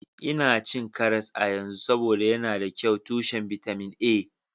Ina cin karas a yanzu, saboda yana da kyau tushen bitamin A